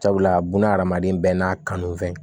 Sabula buna adamaden bɛɛ n'a kanufɛn